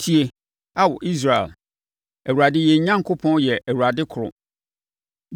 Tie, Ao Israel, Awurade yɛn Onyankopɔn yɛ Awurade koro.